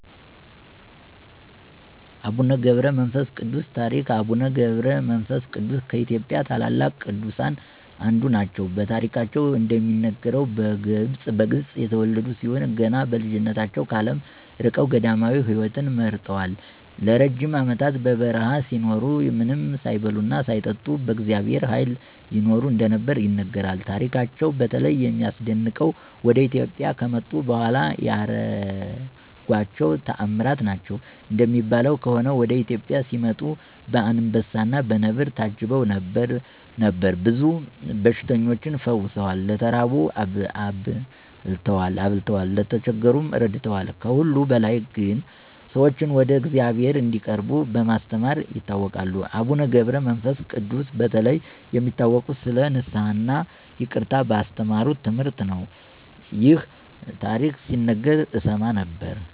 የአቡነ ገብረ መንፈስ ቅዱስ ታሪክ አቡነ ገብረ መንፈስ ቅዱስ ከኢትዮጵያ ታላላቅ ቅዱሳን አንዱ ናቸው። በታሪካቸው እንደሚነገረው፣ በግብፅ የተወለዱ ሲሆን ገና በልጅነታቸው ከዓለም ርቀው ገዳማዊ ሕይወትን መርጠዋል። ለረጅም ዓመታት በበረሃ ሲኖሩ፣ ምንም ሳይበሉና ሳይጠጡ በእግዚአብሔር ኃይል ይኖሩ እንደነበር ይነገራል። ታሪካቸው በተለይ የሚያስደንቀው ወደ ኢትዮጵያ ከመጡ በኋላ ያደረጓቸው ተአምራት ናቸው። እንደሚባለው ከሆነ፣ ወደ ኢትዮጵያ ሲመጡ በአንበሳና በነብር ታጅበው ነበር። ብዙ በሽተኞችን ፈውሰዋል፣ ለተራቡ አብቅተዋል፣ ለተቸገሩም ረድተዋል። ከሁሉ በላይ ግን፣ ሰዎችን ወደ እግዚአብሔር እንዲቀርቡ በማስተማር ይታወቃሉ። አቡነ ገብረ መንፈስ ቅዱስ በተለይ የሚታወቁት ስለ ንስሐ እና ይቅርታ ባስተማሩት ትምህርት ነው። ይህ ታሪክ ሲነገር እሰማ ነበር።